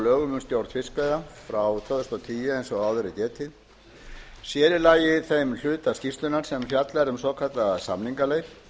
lögum um stjórn fiskveiða frá tvö þúsund og tíu eins áður er getið sér í lagi þeim hluta skýrslunnar sem fjallar um svokallaða samningaleið